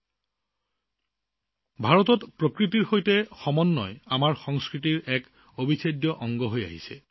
বন্ধুসকল ভাৰতত প্ৰকৃতিৰ সৈতে সম্প্ৰীতি আমাৰ সংস্কৃতিৰ এক অবিচ্ছেদ্য অংগ